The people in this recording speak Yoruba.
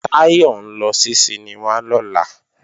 Táyọ̀ ń lọ sí sinimá lọ́la